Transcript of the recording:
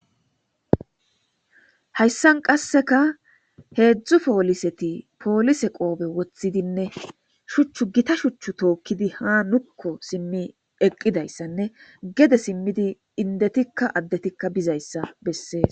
Hayssan qasseka heedzdzu pooliseti poolise qoobe woththidinne shuchchu gita shuchchu tookkidi ha nukko simmi eqqidayssanne gede simmidi indetikka addetikka bizayssa bessees.